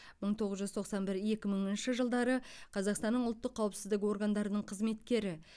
мың тоғыз жүз тоқсан бір екі мыңыншы жылдары қазақстанның ұлттық қауіпсіздік органдарының қызметкері